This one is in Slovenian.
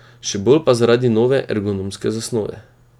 Še bolj pa zaradi nove ergonomske zasnove.